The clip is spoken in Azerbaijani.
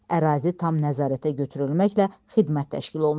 Ərazi tam nəzarətə götürülməklə xidmət təşkil olunub.